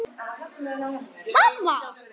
Kemur inn í stofuna aftur.